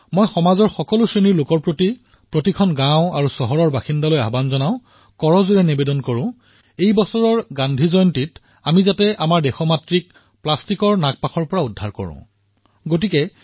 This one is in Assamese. মই সমাজৰ সকলো শ্ৰেণীক সকলো গাঁও আৰু চহৰৰ বাসিন্দাক আপীল কৰিছো কৰযোৰে প্ৰাৰ্থনা কৰিছো যে এইবাৰ গান্ধী জয়ন্তী এক প্ৰকাৰে আমাৰ এই ভাৰত মাতাক প্লাষ্টিকৰ আৱৰ্জনাৰ পৰা মুক্তি প্ৰদান কৰা হিচাপত পালন কৰিম